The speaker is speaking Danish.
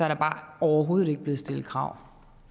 der bare overhovedet ikke blevet stillet krav